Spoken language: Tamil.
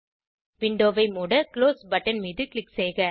விண்டோவை மூட குளோஸ் பட்டனை க்ளிக் செய்க